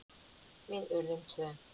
Við urðum tvö.